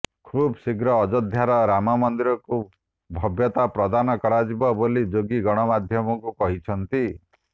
ଖୁବ୍ ଶୀଘ୍ର ଅଯୋଧ୍ୟାର ରାମ ମନ୍ଦିରକୁ ଭବ୍ୟତା ପ୍ରଦାନ କରାଯିବ ବୋଲି ଯୋଗୀ ଗଣମାଧ୍ୟମକୁ କହିଛନ୍ତି